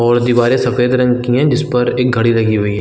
और दीवारें सफ़ेद रंग की है जिस पर एक घड़ी लगी हुई है।